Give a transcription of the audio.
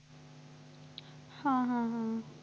हा हा हा